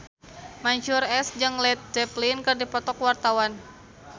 Mansyur S jeung Led Zeppelin keur dipoto ku wartawan